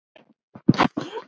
Ef þú segir engum.